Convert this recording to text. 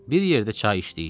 Bir yerdə çay içdik.